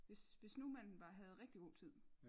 Hvis hvis nu man var havde rigtig god tid